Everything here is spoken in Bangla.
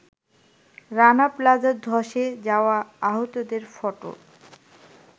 রানা প্লাজার ধসে যাওয়া আহতদের ফটো